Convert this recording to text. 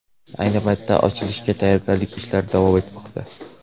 Ayni paytda ochilishga tayyorgarlik ishlari davom etmoqda.